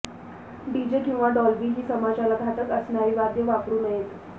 DJ किंवा Dolby ही समाजाला घातक असणारी वाद्य वापरू नयेत